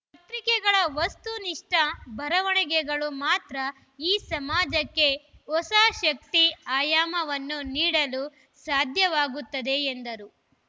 ಪತ್ರಿಕೆಗಳ ವಸ್ತು ನಿಷ್ಠ ಬರವಣಿಗೆಗಳು ಮಾತ್ರ ಈ ಸಮಾಜಕ್ಕೆ ಹೊಸ ಶಕ್ತಿ ಆಯಾಮವನ್ನು ನೀಡಲು ಸಾಧ್ಯವಾಗುತ್ತದೆ ಎಂದರು